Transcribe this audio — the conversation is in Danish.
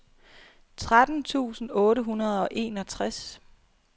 tretten tusind otte hundrede og enogtres